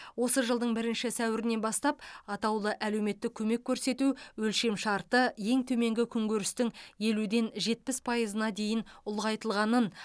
осы жылдың бірінші сәуірінен бастап атаулы әлеуметтік көмек көрсету өлшемшарты ең төменгі күнкөрістің елуден жетпіс пайызына дейін ұлғайтылғанын